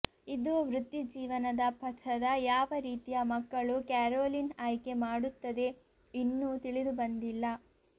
ಇದು ವೃತ್ತಿಜೀವನದ ಪಥದ ಯಾವ ರೀತಿಯ ಮಕ್ಕಳು ಕ್ಯಾರೋಲಿನ್ ಆಯ್ಕೆ ಮಾಡುತ್ತದೆ ಇನ್ನೂ ತಿಳಿದುಬಂದಿಲ್ಲ